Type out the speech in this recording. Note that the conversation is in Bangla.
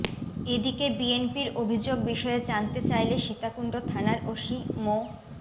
এদিকে বিএনপির অভিযোগ বিষয়ে জানতে চাইলে সীতাকুণ্ড থানার ওসি মো